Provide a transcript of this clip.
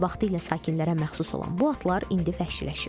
Vaxtilə sakinlərə məxsus olan bu atlar indi vəhşiləşib.